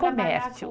Comércio.